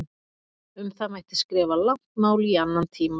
Um það mætti skrifa langt mál í annan tíma.